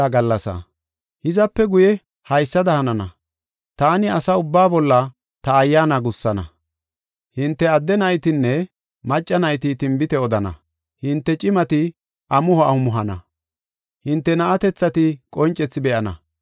Hizape guye haysada hanana; taani asa ubbaa bolla ta Ayyaana gussana. Hinte adde naytinne macca nayti tinbite odana; hinte cimati amuho amuhana; hinte na7atethati qoncethi be7ana.